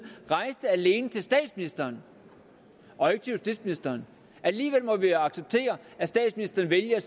rejste alene til statsministeren og ikke til justitsministeren alligevel må vi acceptere at statsministeren vælger